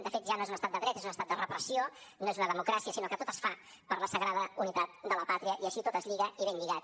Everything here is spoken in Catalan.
de fet ja no és un estat de dret és un estat de repressió no és una democràcia sinó que tot es fa per la sagrada unitat de la pàtria i així tot es lliga i ben lligat